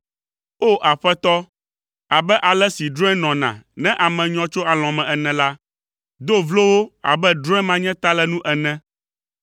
O! Aƒetɔ, abe ale si drɔ̃e nɔna ne ame nyɔ tso alɔ̃ me ene la, do vlo wo abe drɔ̃e manyatalenu ene.